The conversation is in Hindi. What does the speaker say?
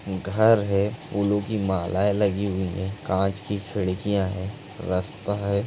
घर है फूलों की मालाएं लगी हुई है कांच की खिड़कियाँ है रास्ता है।